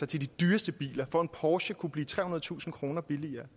de dyreste biler så en porsche kan blive trehundredetusind kroner billigere